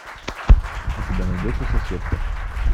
у тебя найдется соседка